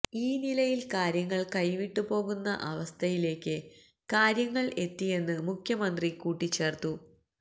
ഈ നിലയില് കാര്യങ്ങള് കൈവിട്ടു പോകുന്ന അവസ്ഥയിലേക്ക് കാര്യങ്ങള് എത്തിയെന്ന് മുഖ്യമന്ത്രി കൂട്ടിച്ചേര്ത്തു